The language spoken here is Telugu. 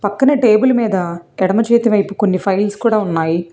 పక్కనే టేబుల్ మీద ఎడమ చేతి వైపు కొన్ని ఫైల్స్ కూడా ఉన్నాయి.